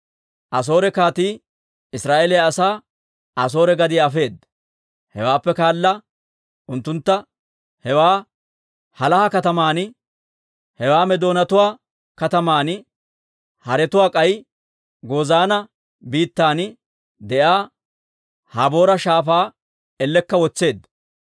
Asoore kaatii Israa'eeliyaa asaa Asoore gadiyaa afeedda. Hewaappe kaala unttuntta hewaa Halaaha kataman, hewaa Meedoonatuwaa kataman, haratuwaa k'ay Gozaana biittan de'iyaa Haboora Shaafaa ellekka wotseedda.